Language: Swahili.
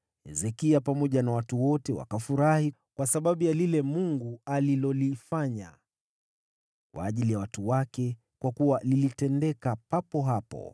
Hezekia pamoja na watu wote wakafurahi kwa sababu ya lile Mungu alilolifanya kwa ajili ya watu wake, kwa kuwa lilitendeka papo hapo.